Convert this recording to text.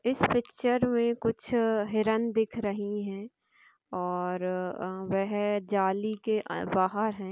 Picture मे कुछ हिरन दिख रहे हैऔर वह जाली के बहार है।